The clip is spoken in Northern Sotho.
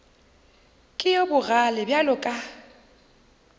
ke yo bogale bjalo ka